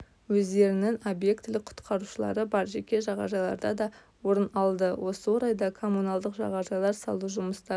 өздерінің объектілік құтқарушылары бар жеке жағажайларда да орын алды осы орайда коммуналдық жағажайлар салу жұмыстарын